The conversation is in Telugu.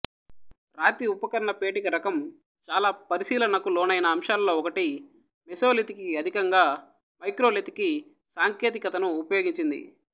రాతి ఉపకరణపేటిక రకం చాలా పరిశీలనకు లోనైన అంశాలలో ఒకటి మెసోలిథికు అధికంగా మైక్రోలిథికు సాంకేతికతను ఉపయోగించింది